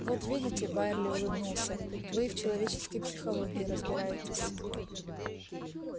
вот видите байерли улыбнулся вы и в человеческой психологии разбираетесь